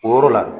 O yɔrɔ la